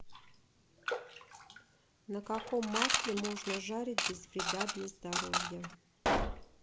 на каком масле можно жарить без вреда для здоровья